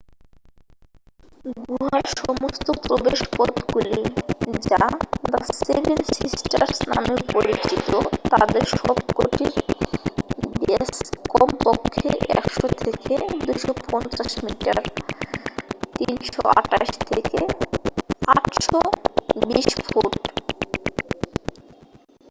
"গুহার সমস্ত প্রবেশপথগুলি যা "দ্য সেভেন সিস্টার্স" নামে পরিচিত তাদের সবকটির ব্যস কমপক্ষে 100 থেকে 250 মিটার 328 থেকে 820 ফুট।